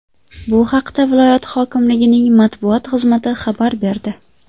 Bu haqda viloyat hokimligining matbuot xizmati xabar berdi .